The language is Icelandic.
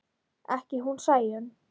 Ekki hún Sæunn.